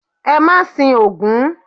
E ma sín ogún